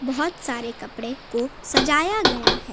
बहुत सारे कपड़े को सजाया गया है।